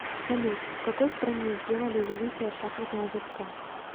салют в какой стране сделали великая шахматная доска